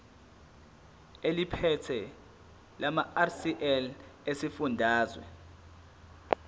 eliphethe lamarcl esifundazwe